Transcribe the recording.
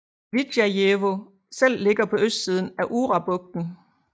Vidjajevo selv ligger på østsiden af Urabugten